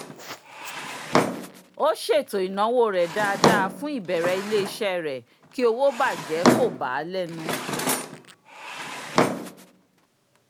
ó ṣètò ináwó rẹ̀ dáadáa fún ìbẹ̀rẹ̀ ilé-iṣẹ́ rẹ̀ kí owó bàjẹ́ kò bà á lẹ́nu